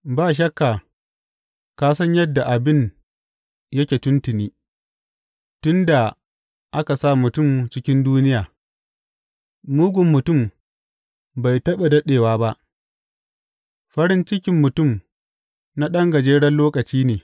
Ba shakka ka san yadda abin yake tuntuni, tun da aka sa mutum cikin duniya, mugun mutum bai taɓa daɗewa ba, farin cikin mutum na ɗan gajeren lokaci ne.